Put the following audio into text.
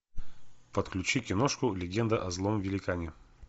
подключи киношку легенда о злом великане